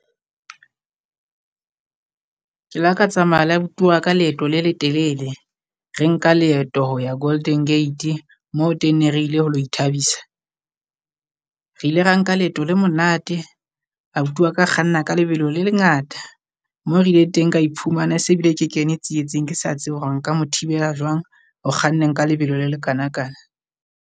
Ke le ka tsamaya le abuti wa ka leeto le letelele. Re nka leeto ho ya Golden Gate moo teng ne re ile ho lo ithabisa, re ile ra nka leeto le monate abuti wa ka a kganna ka lebelo le lengata. Moo re ileng teng ka iphumana e se bile ke kene tsietseng. Ke sa tsebe hore nka mo thibela jwang ho kganneng ka lebelo la le kana kana.